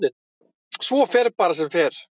Svo fer bara sem fer.